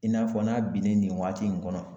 I n'a fɔ n'a binnen nin waati nin kɔnɔ.